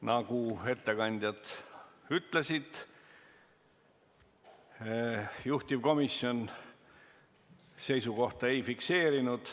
Nagu ettekandjad ütlesid, juhtivkomisjon seisukohta ei fikseerinud.